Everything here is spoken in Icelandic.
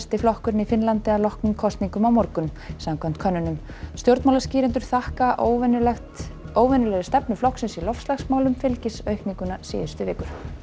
flokkurinn í Finnlandi að loknum kosningum á morgun samkvæmt könnunum stjórnmálaskýrendur þakka óvenjulegri óvenjulegri stefnu flokksins í loftslagsmálum fylgisaukningu síðustu vikna